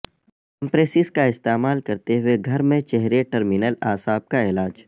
compresses کا استعمال کرتے ہوئے گھر میں چہرے ٹرمینل اعصاب کا علاج